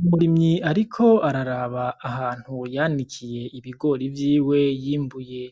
Umurimyi ariko araraba ahantu yanikiye ibigori vyiwe yimbuye.